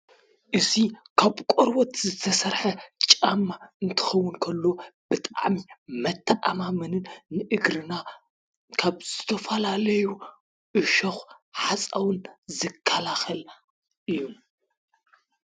እዙይ ካብ ቆርወት ዝተሠርሐ ጫማ እንትኸው እንከሎ ብጠኣሚ መተኣማምንን ንእግርና ካብ ስተፋላ ለዩ እሾኽ ሓፃውን ዝካላኽል እዩ።